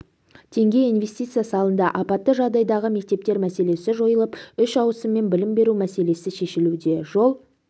теңге инвестиция салынды апатты жағдайдағы мектептер мәселесі жойылып үш ауысыммен білім беру мәселесі шешілуде жол